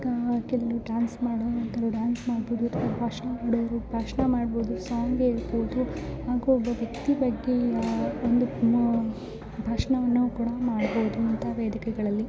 ಕೆಲವರು ಡಾನ್ಸ್ ಮಾಡೋರು ಡಾನ್ಸ್ ಮಾಡಬೋಹುದು ಅಥವಾ ಭಾಷಣ ಮಾಡೋರು ಭಾಷಣ ಮಾಡಬೋಹುದು ಹಾಗೆ ಒಂದು ವ್ಯಕ್ತಿ ಬಗ್ಗೆ ಭಾಷಣ ವನ್ನು ಕೂಡ ಮಾಡಬೋಹುದು ಅಂತ ವೇದಿಕೆಗಳಲ್ಲಿ.